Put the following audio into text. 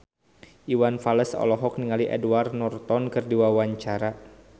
Iwan Fals olohok ningali Edward Norton keur diwawancara